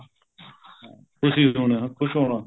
ਖੁਸ਼ੀ ਹੋਣਾ ਖ਼ੁਸ਼ ਹੋਣਾ